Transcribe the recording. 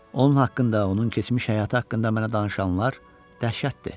Onun haqqında, onun keçmiş həyatı haqqında mənə danışanlar dəhşətdir.